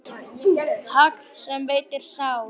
Hagl sem veitir sár.